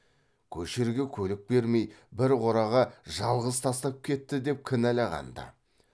көшерге көлік бермей бір қораға жалғыз тастап кетті деп кінәлаған ды